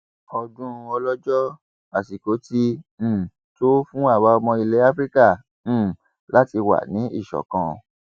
ọdún ọlọjọ àsìkò ti um tó fún àwa ọmọ ilẹ afrika um láti wà ní ìṣọkan